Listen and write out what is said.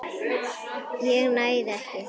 ég nægði ekki.